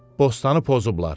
Bostanı pozublar.